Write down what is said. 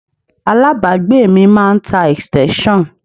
Alábàágbé mi máa ń tá extension.